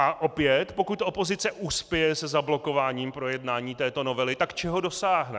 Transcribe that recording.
A opět, pokud opozice uspěje se zablokováním projednání této novely, tak čeho dosáhne.